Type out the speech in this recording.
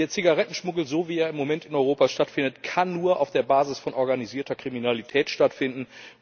Der Zigarettenschmuggel, so wie er im Moment in Europa stattfindet, kann nur auf der Basis von organisierter Kriminalität stattfinden.